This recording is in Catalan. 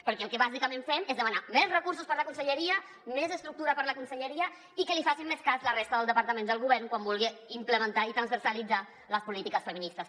perquè el que bàsicament fem és demanar més recursos per a la conselleria més estructura per a la conselleria i que li facin més cas la resta de departaments del govern quan vulgui implementar i transversalitzar les polítiques feministes